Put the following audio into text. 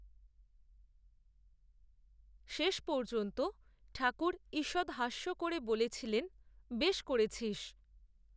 শেষ পর্যন্ত ঠাকুর, ঈষৎ হাস্য করে বলেছিলেন, বেশ করেছিস